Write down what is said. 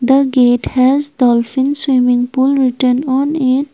The gate has dolphin swimming pool written on it.